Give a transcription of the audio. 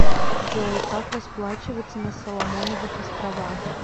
джой как расплачиваться на соломоновых островах